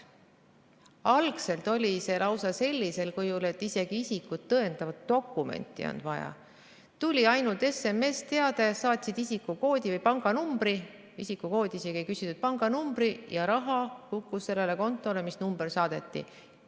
Algselt toimus see lausa sellisel kujul, et isegi isikut tõendavat dokumenti ei olnud vaja, tuli ainult SMS-teade, saatsid pangakonto numbri, isegi isikukoodi ei küsitud, ja raha laekus sellele kontole, mis number saadeti.